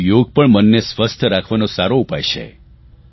આમ તો યોગ પણ મનને સ્વસ્થ રાખવાનો સારો ઉપાય છે